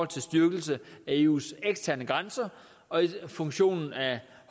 til styrkelse af eus eksterne grænser og funktionen af